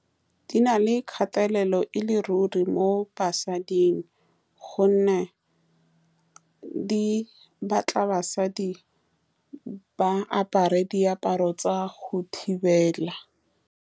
Di na le kgatelelo e le ruri mo basading, ka gonne di batla basadi ba apare diaparo tsa go thibela.